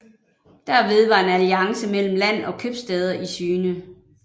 Derved var en alliance mellem land og købstæder i syne